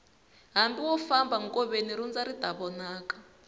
hambi wo famba nkoveni lundza ri ta vonaka